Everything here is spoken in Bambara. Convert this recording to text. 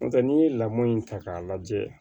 N'o tɛ n'i ye lamɔn in ta k'a lajɛ